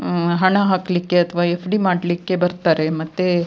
ಆಹ್ಹ್ ಹಣ ಹಾಕ್ಲಿಕ್ಕೆ ಅಥವಾ ಎಫ್ಡಿ ಮಾಡ್ಲಿಕ್ಕೆ ಬರ್ತಾರೆ ಮತ್ತೆ --